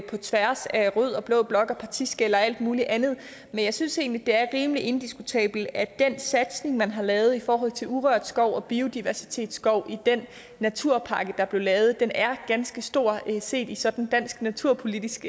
tværs af rød og blå blok og partiskel og alt muligt andet men jeg synes egentlig det er rimelig indiskutabelt at den satsning man har lavet i forhold til urørt skov og biodiversitetskov i den naturpakke er blevet lavet er ganske stor set sådan i dansk naturpolitisk